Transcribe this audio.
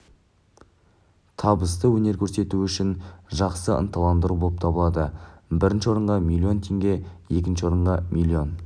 табысты өнер көрсетуі үшін жақсы ынталандыру болып табылады бірінші орынға миллион теңге екінші орынға миллион